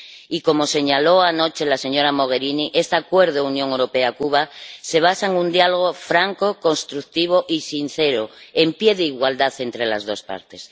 y, como señaló anoche la señora Mogherini, este Acuerdo Unión Europea Cuba se basa en un diálogo franco, constructivo y sincero, en pie de igualdad entre las dos partes.